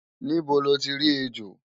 Níbo loti rí ejò?